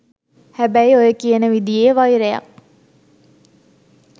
හැබැයි ඔය කියන විදියේ වෛරයක්